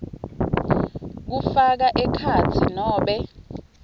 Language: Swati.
kufaka ekhatsi nobe